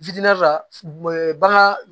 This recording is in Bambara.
la bagan